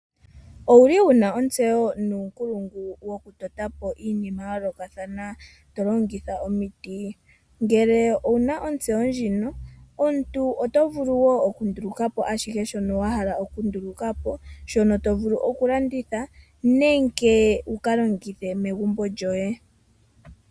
Owuli wuna ontseyo nuunkulungu woku eta po iinima ya yoolokathana tolongitha omiti? Ngele owuna owuna ontseyo ndjino, omuntu oto vulu okundulukapo ashihe shono wa hala okundulukapo, shono tovulu okulanditha nenge wukalongithe megumbo lyoye.